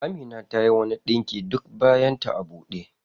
Amina tayi wani ɗinki duk bayan ta a ɓude.